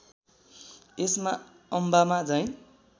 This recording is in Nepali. यसमा अम्बामा झैँ